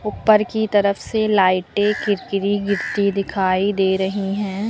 ऊपर की तरफ से लाइटें कीरकरी गिरती दिखाई दे रही हैं।